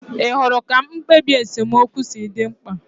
Ị hụrụ ka mkpebi esemokwu si dị mkpa?